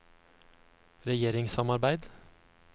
regjeringssamarbeid